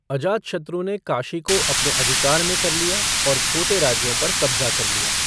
अजातशत्रु ने काशी को अपने अधिकार में कर लिया और छोटे राज्यों पर कब्जा कर लिया।